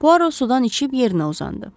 Puaro sudan içib yerinə uzandı.